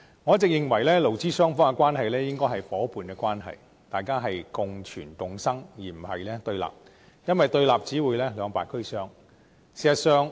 我一直認為，勞資雙方應該是夥伴關係，互相共存共生，而並非對立，因為對立只會兩敗俱傷。